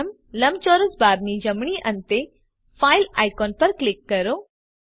પ્રથમ લંબચોરસ બારની જમણી અંતે ફાઇલ આઇકોન પર ક્લિક કરો